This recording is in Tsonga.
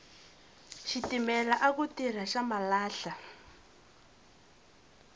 xitimela aku tirha xa malahla